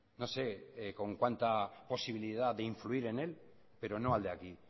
no sé con cuánta posibilidad de influir en él pero no al de aquí